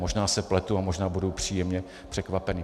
Možná se pletu a možná budu příjemně překvapený.